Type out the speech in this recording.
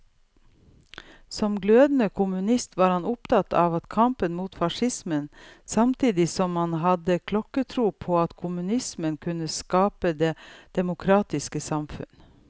Som glødende kommunist var han opptatt av kampen mot facismen, samtidig som han hadde klokketro på at kommunismen kunne skape det demokratiske samfunn.